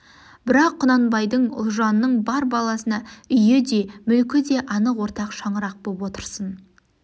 бірақ құнанбайдың ұлжанның бар баласына үйі де мүлкі де анық ортақ шаңырақ боп отырсын